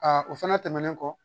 o fɛnɛ tɛmɛnen kɔ